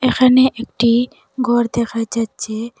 এখানে একটি গর দেখা যাচ্ছে।